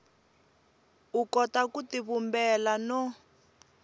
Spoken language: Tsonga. u kota ku tivumbela no